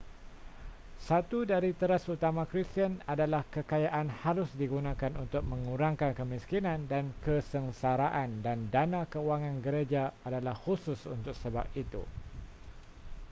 satu dari teras utama kristian adalah kekayaan harus digunakan untuk mengurangkan kemiskinan dan kesengsaraan dan dana kewangan gereja adalah khusus untuk sebab itu